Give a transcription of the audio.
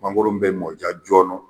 Mangoron bɛ mɔn i ka jɔn nɔ.